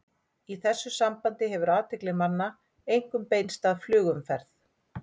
Í þessu sambandi hefur athygli manna einkum beinst að flugumferð.